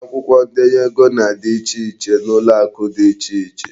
Akwụkwọ ndenye ego na-adị iche n'ụlọakụ dị iche iche.